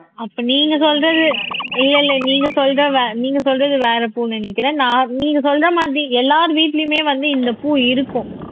அப்ப நீங்க சொல்றது இல்லை இல்லை நீங்க சொல்ற வே நீங்க சொல்றது வேற பூன்னு நினைக்கிறேன் நான் நீங்க சொல்ற மாதிரி எல்லார் வீட்டிலேயுமே வந்து இந்த பூ இருக்கும்